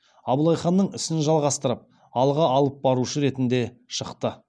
абылай ханның ісін жалғастырып алға алып барушы ретінде шықты